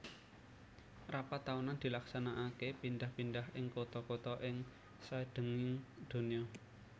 Rapat taunan dilaksanakaké pidhah pindhah ing kutha kutha ing saidhenging donya